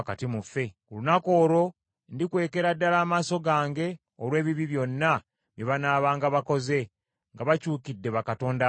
Ku lunaku olwo ndikwekera ddala amaaso gange olw’ebibi byonna bye banaabanga bakoze nga bakyukidde bakatonda abalala.